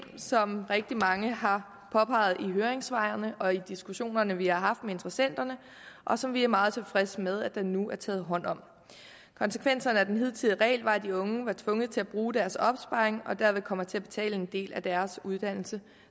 som rigtig mange har påpeget i høringssvarene og i diskussionerne som vi har haft med interessenterne og som vi er meget tilfredse med at der nu er taget hånd om konsekvenserne af den hidtidige regel var at de unge var tvunget til at bruge deres opsparing og derved komme til at betale en del af deres uddannelse